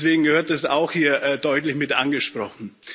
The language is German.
Deswegen gehört das auch hier deutlich mit angesprochen.